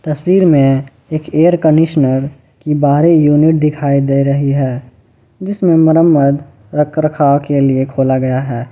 तस्वीर में एक एयर कंडीशनर की बाहरी यूनिट दिखाई दे रही है जिसमें मरम्मत रखरखाव के लिए खोला गया है ।